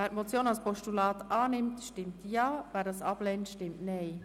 Wer die Motion als Postulat annimmt, stimmt Ja, wer dies ablehnt, stimmt Nein.